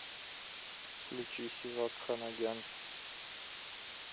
включи севак ханагян